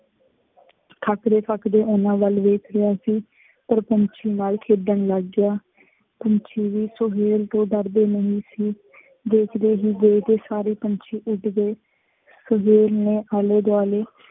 ਥੱਕਦੇ ਥੱਕਦੇ ਉਹਨਾ ਵੱਲ ਵੇਖ ਰਿਹਾ ਸੀ। ਫੇਰ ਪੰਛੀ ਨਾਲ ਖੇਡਣ ਲੱਗ ਗਿਆ। ਪੰਛੀ ਵੀ ਸੁਹੇਲ ਤੋਂ ਡਰਦੇ ਨਹੀਂ ਸੀ। ਦੇਖਦੇ ਹੀ ਦੇਖਦੇ ਸਾਰੇ ਪੰਛੀ ਉੱਡ ਗਏ। ਸੁਹੇਲ ਨੇ ਆਲੇ ਦੁਆਲੇ